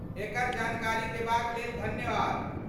एकर जानकारी देबाक लेल धन्यवाद।